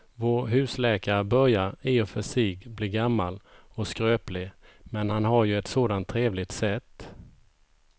Vår husläkare börjar i och för sig bli gammal och skröplig, men han har ju ett sådant trevligt sätt!